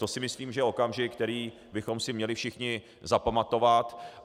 To si myslím, že je okamžik, který bychom si měli všichni zapamatovat.